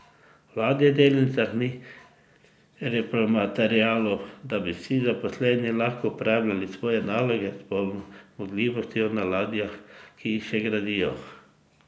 V ladjedelnicah ni repromaterialov, da bi vsi zaposleni lahko opravljali svoje naloge s polno zmogljivostjo na ladjah, ki jih še gradijo.